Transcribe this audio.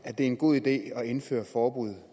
at det er en god idé at indføre forbud